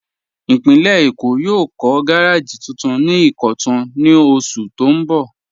Ìpínlẹ̀ Èkó yóò kọ̀ gàràjì tuntun ni Ìkọ̀tun ní ọṣù tó n bọ́.